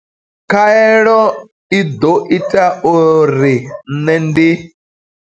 Khaelo i ḓo ita uri nṋe ndi.